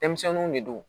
Denmisɛnninw de don